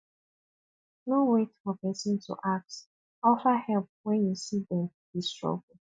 no wait for person to ask offer help when you see them dey struggle